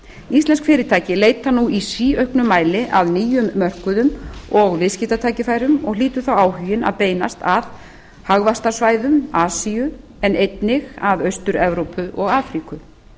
íslensk fyrirtæki leita nú í síauknum mæli að nýjum mörkuðum og viðskiptatækifærum og hlýtur þá áhuginn að beinast að hagvaxtarsvæðum asíu en einnig að austur evrópu og afríku